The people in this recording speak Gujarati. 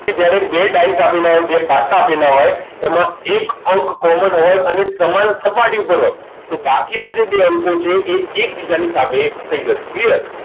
કે જ્યારે બે ડાઈસ આપેલા હોય બે પાસા આપેલા હોય એમાં એક અંક common હોય અને સમાન સપાટી ઉપર હોય તો બાકીના બે જે અંકો છે એ એકબીજાની સામે થઈ જશે clear